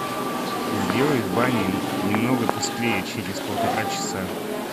сделай в бане немного тусклее через полтора часа